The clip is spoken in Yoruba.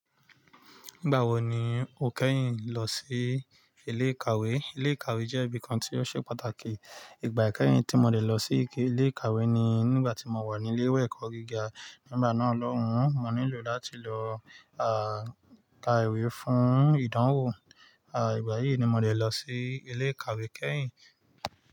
Nígbà wo ni o kẹ́yìn lọ sí ilé ìkàwé? Ilé ìkàwé jẹ́ ibi kan tí ó ṣe pàtàkì. Ìgbà ikẹ́yìn tí mo lè lọ sí ilé ìkàwé ni nígbà tí mo wà ní ilé ìwé ẹ̀kọ́ gíga. Nígbà náà, lọ́hun, mo nílò láti lọ, ah, ka ìwé fún ìdánwò. Ah, ìgbà yìí ni mo de lọ sí ilé ìkàwé kẹ́yìn.